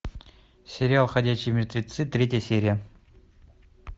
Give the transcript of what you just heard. сериал ходячие мертвецы третья серия